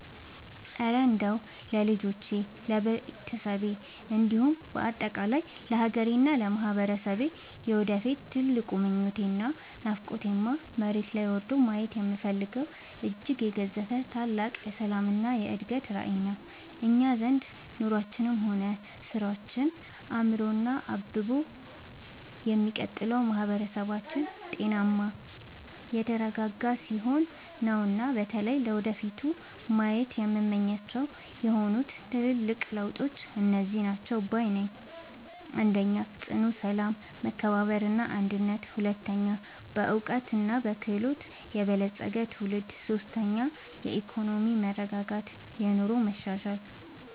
እረ እንደው ለልጆቼ፣ ለቤተሰቤ እንዲሁም በአጠቃላይ ለሀገሬና ለማህበረሰቤ የወደፊት ትልቁ ምኞቴና ናፍቆቴማ፣ መሬት ላይ ወርዶ ማየት የምፈልገው እጅግ የገዘፈ ታላቅ የሰላምና የእድገት ራዕይ ነው! እኛ ዘንድ ኑሯችንም ሆነ ስራችን አምሮና አብቦ የሚቀጥለው ማህበረሰባችን ጤናማና የተረጋጋ ሲሆን ነውና። በተለይ ለወደፊቱ ማየት የምመኛቸውና ናፍቆቴ የሆኑት ትልልቅ ለውጦች እነዚህ ናቸው ባይ ነኝ፦ 1. ጽኑ ሰላም፣ መከባበርና አንድነት 2. በዕውቀትና በክህሎት የበለፀገ ትውልድ 3. የኢኮኖሚ መረጋጋትና የኑሮ መሻሻል